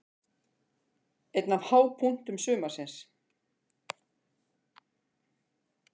Einn af hápunktum sumarsins.